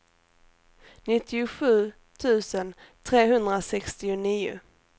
nittiosju tusen trehundrasextionio